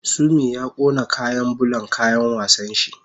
Sumi ya kona kayan bulan kayan wasan shi